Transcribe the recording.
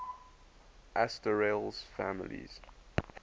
asterales families